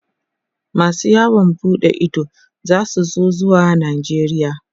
masu yawon buɗe Ido zasu so zuwa najeria